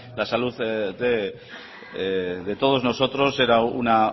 la salud de todos nosotros era una